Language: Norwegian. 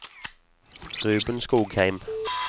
Ruben Skogheim